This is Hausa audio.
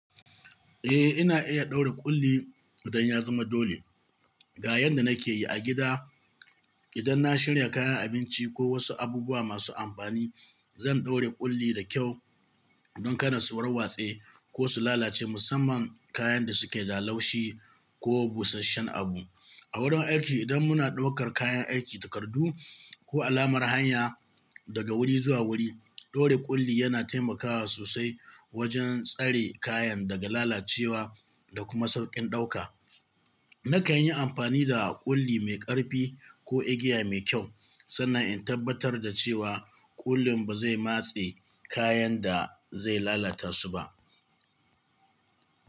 Eh, ina iya ɗaure ƙulli idan ya zama dole. Ga yadda nake yi: A gida, idan na shirya kayan abinci ko wasu abubuwa masu amfani, zan ɗaure ƙulli da kyau don kada su warwatse ko su lalace, musamman kayan da suke da laushi ko busasshen abu. A wurin aiki, idan muna ɗaukar kayan aiki, takardu, ko alamar hanya daga wuri zuwa wuri, ɗaure ƙulli yana taimakawa sosai wajen tsare kayan daga lalacewa da kuma sauƙin ɗauka. Nakan yi amfani da ƙulli mai ƙarfi ko igiya mai kyau, sannan in tabbatar da cewa ƙullin ba zai matse kayan da zai lalata su ba.